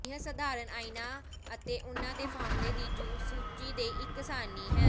ਇਹ ਸਧਾਰਨ ਆਇਨਨਾਂ ਅਤੇ ਉਹਨਾਂ ਦੇ ਫਾਰਮੂਲੇ ਦੀ ਸੂਚੀ ਦੇ ਇੱਕ ਸਾਰਣੀ ਹੈ